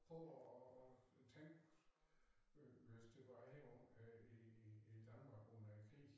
Prøv at at tænk øh hvis det var her oppe i i i Danmark under æ krig